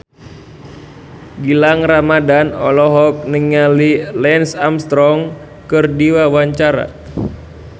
Gilang Ramadan olohok ningali Lance Armstrong keur diwawancara